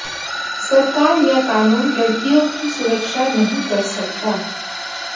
सरकार या कानून लड़कियों की सुरक्षा नहीं कर सकता